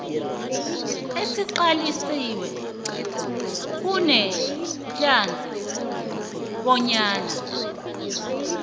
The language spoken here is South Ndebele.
esiqaliswe kunedlac bonyana